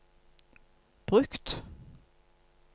brukt